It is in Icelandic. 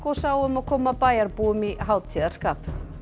sáu um að koma bæjarbúum í hátíðarskap